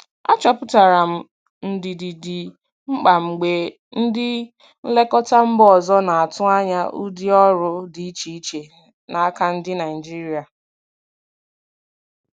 Achọpụtara m ndidi dị mkpa mgbe ndị nlekọta mba ọzọ na-atụ anya ụdị ọrụ dị iche iche n'aka ndị Naijiria.